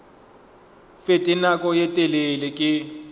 fete nako ye telele ke